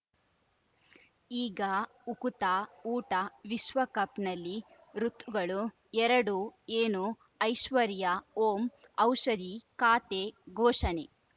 ಈಗ ಉಕುತ ಊಟ ವಿಶ್ವಕಪ್‌ನಲ್ಲಿ ಋತುಗಳು ಎರಡು ಏನು ಐಶ್ವರ್ಯಾ ಓಂ ಔಷಧಿ ಖಾತೆ ಘೋಷಣೆ